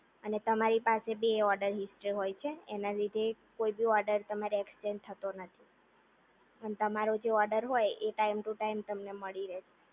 અને તમારી પાસે ભી એવોર્ડ હિસ્ટ્રી હોય છે એના લીધે કોઈ બી ઓર્ડર તમારો એક્સચેન્જ થતો નથી તમારો જે ઓર્ડર હોય એ ટાઈમ ટુ ટાઈમ તમને મળી રહેશે